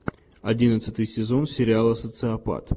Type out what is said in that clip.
одиннадцатый сезон сериала социопат